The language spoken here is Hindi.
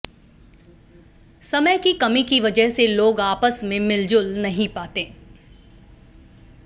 समय की कमी की वजह से लोग आपस में मिलजुल नहीं पाते